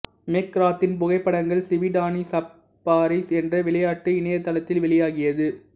மெக்ராத்தின் புகைப்படங்கள் சிபிடானி சஃபாரிஸ் என்ற விளையாட்டு இணையதளத்தில் வெளியாகியது